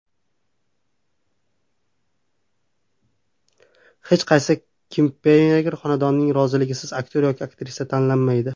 Hech qaysi klipmeyker xonandaning roziligisiz aktyor yoki aktrisa tanlamaydi.